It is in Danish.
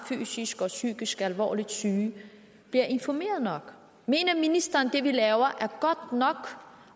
fysisk eller psykisk alvorligt syg bliver informeret nok i mener ministeren at det vi laver er godt nok